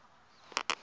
ahee